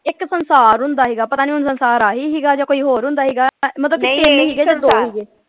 ਇਕ ਸੰਸਾਰ ਹੁੰਦਾ ਸੀਗਾ ਪਤਾ ਨਹੀਂ ਹੁਣ ਸੰਸਾਰ ਅਹਿ ਸੀਗਾ ਜਾਂ ਕੋਈ ਹੋਰ ਹੁੰਦਾ ਸੀਗਾ ਮਤਲਬ .